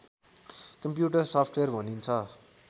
computer software भनिन्छ